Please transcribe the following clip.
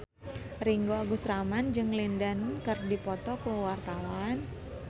Ringgo Agus Rahman jeung Lin Dan keur dipoto ku wartawan